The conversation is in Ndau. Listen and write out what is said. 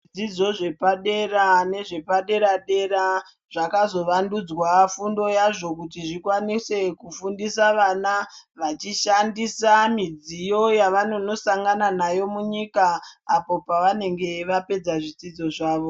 Zvidzidzo zvepadera nezvepadera dera zvakazovandudzwa fundo yazvo kuti zvikwanise kufundisa vana vachishandisa midziyo yavanonosangana nayo munyika apo pavanenge vapedza zvidzidzo zvavo.